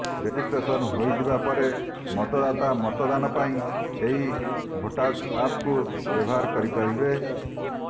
registration ହୋଇଯିବା ପରେ ମତଦାତା ମତଦାନ ପାଇଁ ଏହି ଭୋଟାଜ୍ ଆପ୍କୁ ବ୍ୟବହାର କରିପାରିବେ